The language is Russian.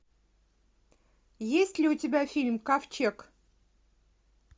есть ли у тебя фильм ковчег